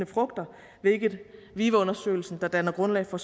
frugter hvilket vive undersøgelsen der danner grundlag for